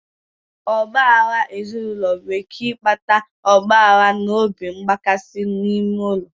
Ọgba aghara ezinụlọ nwere ike ịkpata ọgba aghara na obi mgbakasị n'ime ụlọ